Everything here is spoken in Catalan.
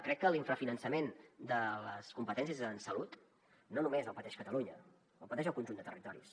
crec que l’infrafinançament de les competències en salut no només el pateix catalunya el pateix el conjunt de territoris